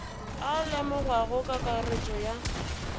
a lemogwago ka kakaretšo ya